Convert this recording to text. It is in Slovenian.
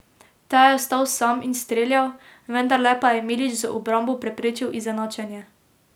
Ta je ostal sam in streljal, vendarle pa je Milić z obrambo preprečil izenačenje.